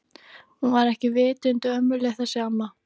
Hún var ekki vitund ömmuleg þessi amma.